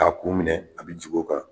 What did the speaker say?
K'a kun minɛ a bɛ jig'o kan.